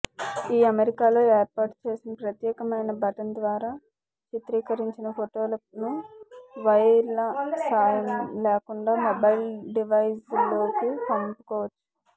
ఈ కెమెరాలో ఏర్పాటు చేసిన ప్రత్యేకమైన బటన్ ద్వారా చిత్రీకరించిన ఫోటోలను వైర్ల సాయం లేకుండా మొబైల్ డివైజ్లోకి పంపుకోవచ్చు